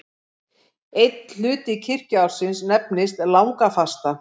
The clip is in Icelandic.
Einn hluti kirkjuársins nefnist langafasta.